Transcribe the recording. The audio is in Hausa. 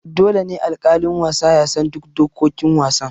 Dole ne alƙalin wasa ya san duk dokokin wasan.